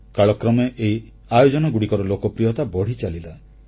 କାଳକ୍ରମେ ଏହି ଆୟୋଜନଗୁଡ଼ିକର ଲୋକପ୍ରିୟତା ବଢ଼ିଚାଲିଲା